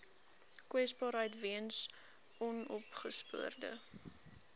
kwesbaarheid weens onopgespoorde